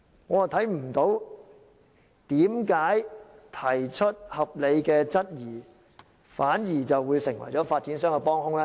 我看不到為何提出合理的質疑，反而會成為發展商的幫兇？